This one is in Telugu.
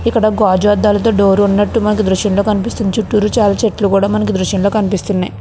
దూరం గ చూస్తే కొన్ని ఇక్కడ గాజు ఆధాలతో డోర్ ఉన్నటు మనకి దృశ్యం లో కనిపిస్తుంది. చూతురు చాల చెట్లు ఉన్నటు మనకి దృశ్యం లో కనిపిస్తున్నాయి.